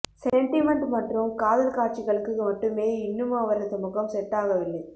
sentiment மற்றும் காதல் காட்சிகளுக்கு மட்டுமே இன்னும் அவரது முகம் செட் ஆகவில்லை